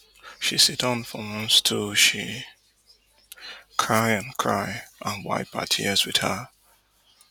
she siddon for one stool she cry and cry and wipe her tears wit her